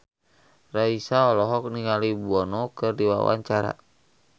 Raisa olohok ningali Bono keur diwawancara